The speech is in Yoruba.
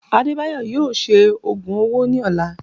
Adebayo yóò ṣe ogùn ọwọ ní ọlà